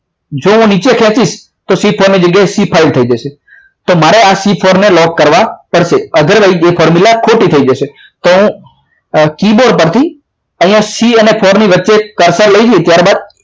જો હું નીચે ખેંચીશ c four ની જગ્યાએ તો c four ની જગ્યાએ c five થઈ જશે તો મારે c four ને લોક કરવા પડશે otherwise એ formula ખોટી થઈ જશે તો તો કીબોર્ડ પરથી અહીંયા c four ની વચ્ચે પાછા લઈ જઈએ તારે બાદ